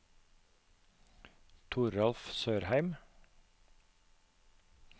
Toralf Sørheim